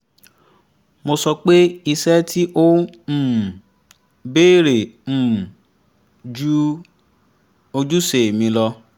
mo sọ pé iṣẹ́ tí ó um béèrè um ju ojúṣe mi lọ